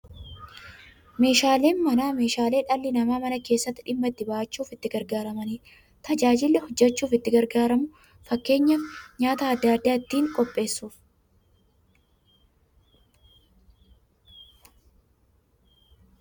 Meeshaaleen Manaa meeshaalee dhalli namaa Mana keessatti dhimma itti ba'achuuf itti gargaaramaniidha. Tajaajilli kunis, namni jiruuf jireenya isaa keessatti hojii adda adda ittiin hojjachuuf itti gargaaramu. Fakkeenyaf, nyaata adda addaa ittiin qopheessuuf.